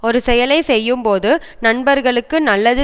ஒரு செயலை செய்யும்போது நண்பர்களுக்கு நல்லது